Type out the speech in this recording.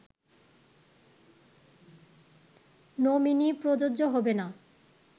nominee প্রযোজ্য হবে না